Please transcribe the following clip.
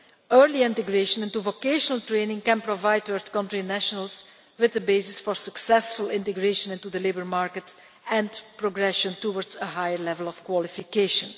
Early integration into vocational training can provide third-country nationals with the basis for successful integration into the labour market and progression towards a high level of qualification.